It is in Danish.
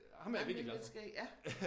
Ej men det lidt skægt ja